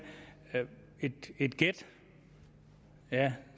et gæt ja